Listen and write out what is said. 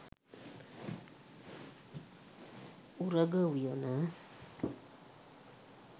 උරග උයන.